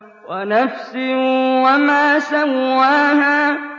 وَنَفْسٍ وَمَا سَوَّاهَا